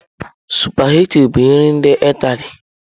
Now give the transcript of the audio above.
Sụpaghetị bụ nri ndị Ịtali.